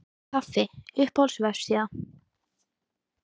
kaffi Uppáhalds vefsíða?